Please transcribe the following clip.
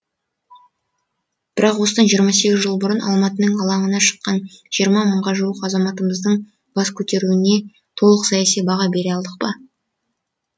бірақ осыдан жиырма сегіз жыл бұрын алматының алаңына шыққан жиырма мыңға жуық азаматымыздың бас көтеруіне толық саяси баға бере алдық па